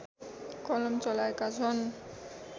कलम चलाएका छन्